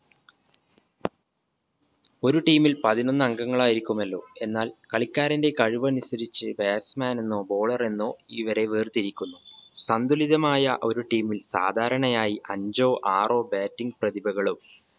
ഒരു team ൽ പതിനൊന്ന് അംഗങ്ങളായിരിക്കുമല്ലോ എന്നാൽ കളിക്കാരന്റെ കഴിവനുസരിച്ച് batsman എന്നോ bowler എന്നോ ഇവരെ വേർതിരിക്കുന്നു സന്തുലിതമായ ഒരു team ൽ സാധാരണയായി അഞ്ചോ ആറോ bating പ്രതിഭകളും